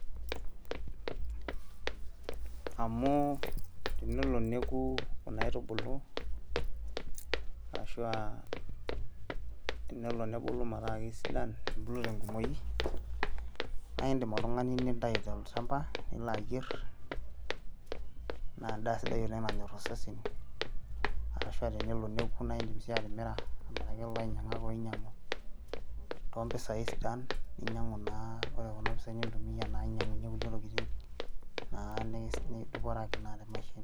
amu tenelo neku kuna aitubulu arashua tenelo nebulu metaa kisidan nebulu tenkumoki naindim oltung'ani nintayu tolchamba nilo ayierr naa endaa sidai oleng nanyorr osesen arashua tenelo neku naindim sii atimira amiraki ilainyiang'ak oinyiang'u tompisai sidan ninyiang'u naa ore kuna pisai nintumia naa ainyiang'unyie kulie tokiting naa nidupore ake naa te maisha ino.